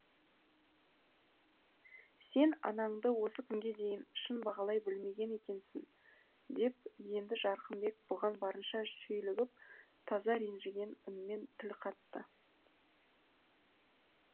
сен анаңды осы күнге дейін шын бағалай білмеген екенсің деп енді жарқынбек бұған барынша шүйлігіп таза ренжіген үнмен тіл қатты